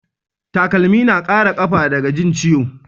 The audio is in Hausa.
Takalmi na Kara kafa daga Jin ciwo